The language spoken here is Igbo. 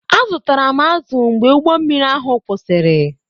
Azụtara m azụ mgbe ụgbọ mmiri ahụ kwụsịrị